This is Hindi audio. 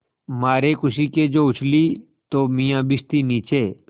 मारे खुशी के जो उछली तो मियाँ भिश्ती नीचे